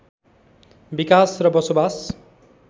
विकास र बसोबास